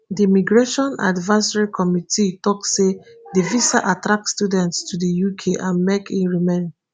di migration advisory committee tok say di visa attract student to di uk and make e remain